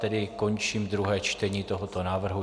Tedy končím druhé čtení tohoto návrhu.